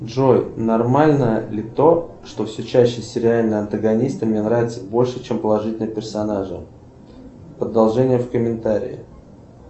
джой нормально ли то что все чаще сериальные антагонисты мне наравятся больше чем положительные персонажи продолжение в комментарии